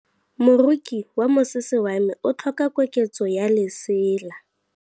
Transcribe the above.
Moroki wa mosese wa me o tlhoka koketsô ya lesela.